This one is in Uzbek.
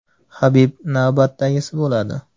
Habib navbatdagisi bo‘ladi.